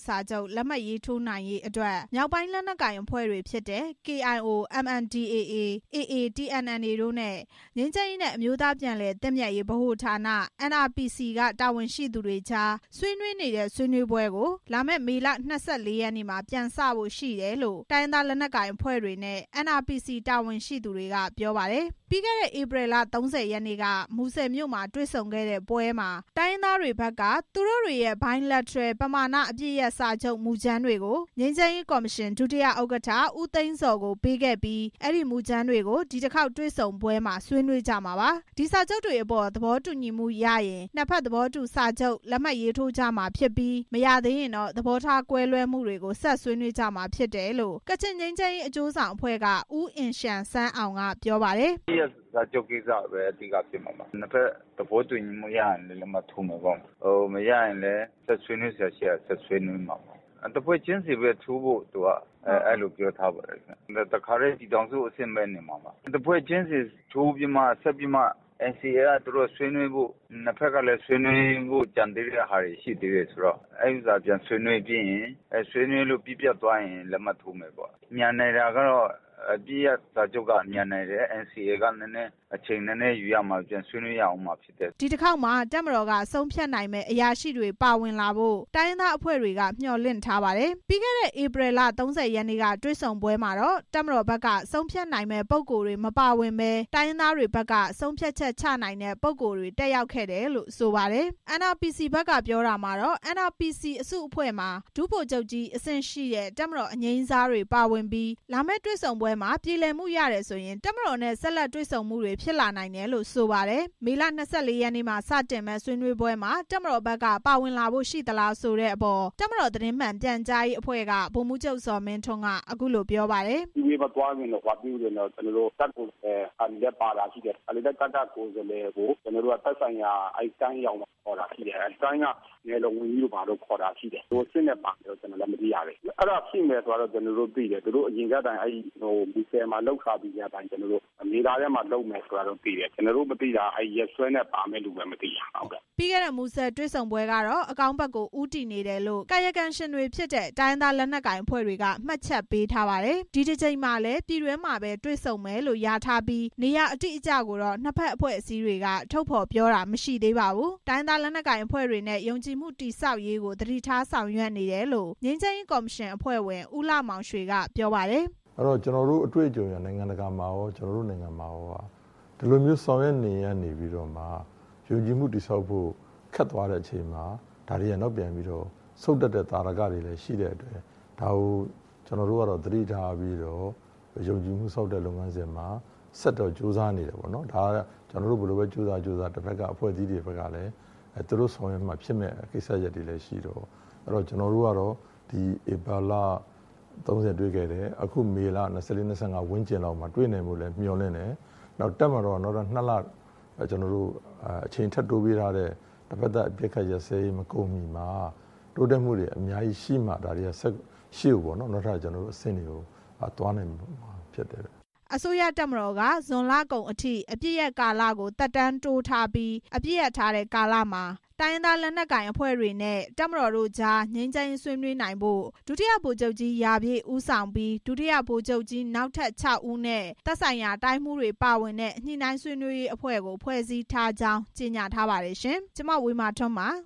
စာချုပ် လက်မှတ်ရေးထိုးနိုင်ရေး ဆွေးနွေးမယ့် တွေ့ဆုံပွဲကို လာမယ့် မေလ ၂၄ ရက်နေ့နဲ့ ၂၅ ရက်နေ့တွေမှာ ပြည်တွင်းမှာ ကျင်းပမယ်လို့ သိရပါတယ်။ ပြီးခဲ့တဲ့ ဧပြီလ ၃၀ ရက်နေ့က မူဆယ်မြို့မှာ တွေ့ဆုံခဲ့တဲ့ပွဲမှာ တိုင်းရင်းသားတွေဘက်က သူတို့တွေရဲ့ Bilateral ပဏာမအပစ်ရပ်စာချုပ် မူကြမ်းတွေကို ငြိမ်းချမ်းရေးကော်မရှင် ဒု-ဥက္ကဋ္ဌ ဦးသိန်းဇော် ကို ပေးခဲ့ပြီး အဲဒီမူကြမ်းတွေကို ဒီတစ်ခေါက်တွေ့ဆုံပွဲမှာ ဆွေးနွေးကြမှာပါ။ ဒီစာချုပ်တွေအပေါ် သဘောတူညီမှုရရင် နှစ်ဖက်သဘောတူစာချုပ်တွေ လက်မှတ်ရေးထိုးကြမှာဖြစ်ပြီး မရသေးရင်တော့ သဘောထားကွဲလွဲမှုတွေကို ဆက်ဆွေးနွေးကြမှာ ဖြစ်တယ်လို့ ကချင်ငြိမ်းချမ်းရေး အကျိုးဆောင်အဖွဲ့က ဦးအင်ရှန်ဆန်းအောင်က ပြောပါတယ်။ “အပစ်ရပ်စာချုပ်ကိစ္စပဲ အဓိက ဖြစ်မှာပါ။ နှစ်ဖက်သဘောတူညီမှုရရင်လည်း လက်မှတ်ရေးထိုးကြမယ်ပေါ့။ မရရင်လည်း ဆက်ဆွေးနွေးစရာရှိတာ ဆက်ဆွေးနွေးမှာပေ့ါ။ တဖွဲ့ချင်းစီပဲ ထိုးဖို့ သူတို့က ပြောထားပါတယ် ခင်ဗျ။ တခါတည်း ပြည်ထောင်စုအဆင့်ပဲနေမှာပါ။ တဖွဲ့ချင်းစီထိုးပြီးမှာ NCA က ဆွေးနွေးဖို့။ နှစ်ဖက်ကလည်း ဆွေးနွေးဖို့ ကျန်နေသေးတာတွေရှိနေသေးတော့ ဆွေးနွေးလို့ ပြီးပြတ်သွားရင် လက်မှတ်ထိုးမယ်ပေါ့။ မြန်နိုင်တာကတော့ အပစ်ရပ်စာချုပ်က မြန်နိုင်တယ်။ NCA ကတော့ နည်းနည်းအချိန်ယူရမယ်” ဒီတစ်ခေါက်မှာ တပ်မတော်က ဆုံးဖြတ်နိုင်မယ့် အရာရှိတွေပါဝင်လာဖို့ တိုင်းရင်းသားအဖွဲ့တွေက မျှော်လင့် ထားပါတယ်။ ပြီးခဲ့တဲ့ ဧပြီလ ၃၀ ရက်နေ့က တွေ့ဆုံပွဲမှာတော့ တပ်မတော်ဘက်က ဆုံးဖြတ်နိုင်မယ့် ပုဂ္ဂိုလ်တွေ မပါဝင်ဘဲ တိုင်းရင်းသားတွေဘက်က ဆုံးဖြတ်ချက်ချနိုင်တဲ့ ပုဂ္ဂိုလ်တွေ တက်ရောက်ခဲ့တာလို့ ဆိုပါတယ်။ NRPC ဘက်ကပြောတာကတော့ NRPC အစုအဖွဲ့မှာ ဒုဗိုလ်ချုပ်ကြီးအဆင့်ရှိတဲ့ တပ်မတော်အငြိမ်းစားတွေ ပါဝင်ပြီး လာမယ့် တွေ့ဆုံပွဲမှာ ပြေလည်မှုရတယ်ဆိုရင် တပ်မတော်နဲ့ ဆက်လက်တွေ့ဆုံမှုတွေ ဖြစ်လာနိုင်တယ်လို့ ဆိုပါတယ်။ မေလ ၂၄ ရက်နေ့မှာ စတင်မယ့်ဆွေးနွေးပွဲမှာ တပ်မတော်ဘက်က ပါဝင်လာဖို့ ရှိသလားဆိုတဲ့အပေါ် တပ်မတော် သတင်းမှန်ပြန်ကြားရေးအဖွဲ့က ဗိုလ်မှူးချုပ် ဇော်မင်းထွန်း က အခုလို ပြောပါတယ်။ “တပ်ကိုယ်စားလှယ်ပါတာလည်းရှိတယ်။ တခါတလေ ကိုယ်စားလှယ်ကို သက်ဆိုင်ရာ တိုင်းရောက်မှ ခေါ်တာလည်းရှိတယ်။ တိုင်းက နယ်လုံဝန်ကြီးတို့ဘာတို့ ခေါ်တာရှိတယ်။ ဘယ်လိုအဆင့်နဲ့ ပါမယ်တော့ ကျနော်လည်း မသိရသေးဘူး။ အဲဒါရှိမယ်ဆိုတာတော့ ကျနော်လည်း သိတယ်။ သူတို့ မူဆယ်မှာလုပ် ထားပြီးထဲကအတိုင်း မေလထဲမှာလုပ်မယ်ဆိုတာသိတယ်။ ကျနော်တို့ မသိတာအဲဒီရက်စွဲနဲ့ ပါမယ့်သူပဲ မသိတာ” ပြီးခဲ့တဲ့ မူဆယ်တွေ့ဆုံပွဲကတော့ အကောင်းဘက်ကိုဦးတည်နေတယ်လို့ ကာယကံရှင်တွေဖြစ်တဲ့ တိုင်းရင်းသား လက်နက်ကိုင်အဖွဲ့တွေက မှတ်ချက်ပေးထားပါတယ်။ ဒီတစ်ကြိမ်မှာ ပြည်တွင်းမှာ တွေ့ဆုံမယ်လို့ လျာထားပြီး နေရာအတိအကျကိုတော့ နှစ်ဖက်အဖွဲ့အစည်းတွေက ထုတ်ဖော်ပြောတာ မရှိပါဘူး။ တိုင်းရင်းသား လက်နက်ကိုင်အဖွဲ့တွေနဲ့ ယုံကြည်မှုတည်ဆောက်ရေးကို သတိထားဆောင်ရွက်နေတယ်လို့ ငြိမ်းချမ်းရေးကော်မရှင်အဖွဲ့ဝင် ဦးလှမောင်ရွှေ က ပြောပါတယ်။ “ကျနော်တို့ အတွေ့အကြုံအရ၊ နိုင်ငံတကာမှာကော ကျနော်တို့နိုင်ငံမှာကော ဒီလိုမျိုး ဆောင်ရွက်နေရင်းကမှ ယုံကြည်မှုတည်ဆောက်ဖို့ ခက်သွားတဲ့အချိန်မှာ ဒါတွေက နောက်ပြန်ပြီးတော့ ဆုတ်တက်တဲ့သာဓကတွေ လည်းရှိတဲ့အတွက် ကျနော်တို့ကတော့ ဒါကို သတိထားပြီး ယုံကြည်မှုဆောက်တဲ့ လုပ်ငန်းစဉ်မှာ ဆက်တော့ ကြိုးစားနေတယ်။ ကျနော်တို့ ဘယ်လိုပဲ ကြိုးစားကြိုးစား သူတို့ဆောင်ရွက်မှ ဖြစ်မယ့်ကိစ္စတွေလည်းရှိတော့ ကျနော်တို့ကတော့ ဧပြီလ ၃၀ တွေ့ခဲ့တယ်။ မေလ ၂၄ ၊ ၂၅ ဝန်းကျင်လောက်မှာ တွေ့နိုင်ဖို့လည်း မျှော်လင့်တယ်။ တပ်မတော်က နှစ်လ အချိန်ထပ်တိုးပေးထားတဲ့ တဖက်သတ်အပစ်အခတ်ရပ်စဲရေးမကုန်မီမှာ တိုးတက်မှုတွေရှိမှ ရှေ့ကိုအဆင့်တွေ အများကြီးသွားနိုင် မှာပေါ့နော်” အစိုးရတပ်မတော်က ဇွန်လကုန်အထိ အပစ်ရပ်ကာလကို သက်တမ်းတိုးထားပြီး အပစ်ရပ်ထားတဲ့ ကာလမှာ တိုင်းရင်းသား လက်နက်ကိုင်အဖွဲ့တွေနဲ့ တပ်မတော်တို့ကြား ငြိမ်းချမ်းရေးဆွေးနွေးဖို့ ဒုတိယဗိုလ်ချုပ်ကြီး ရာပြည့် ဦးဆောင်ပြီး ဒုတိယဗိုလ်ချုပ်ကြီး နောက်ထပ် ၆ ဦးနဲ့ သက်ဆိုင်ရာ တိုင်းမှူးတွေ ပါဝင်တဲ့ ညှိနှိုင်းဆွေးနွေးရေးအဖွဲ့ကို ဖွဲ့စည်းထားကြောင်း ကြေညာထားပါတယ်ရှင်။ ဒီသတင်းကို RFA သတင်းထောက် မဝေမာထွန်း ပ